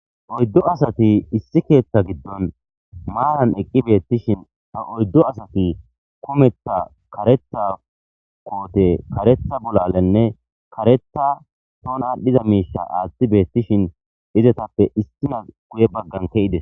Oydu asati issi keetha gidon maara eqi beetishin ha oydu asati kummetha kaaretha koote, kaaretha bolalenne kaaretha tooni adhiza miisha aathi beetishin izetappe issinazi gue bagan kezides.